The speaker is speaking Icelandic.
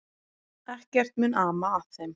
Ekkert mun ama að þeim.